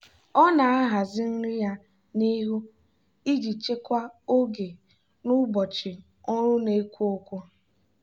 ọ na-ahazi nri ya n'ihu iji chekwaa oge n'ụbọchị ọrụ na-ekwo ekwo.